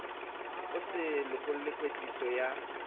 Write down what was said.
e so lokele kwetliso ya